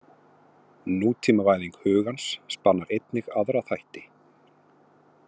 Nútímavæðing hugans spannar einnig aðra þætti.